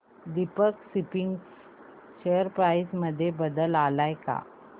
Deepak Spinners share price मध्ये बदल आलाय का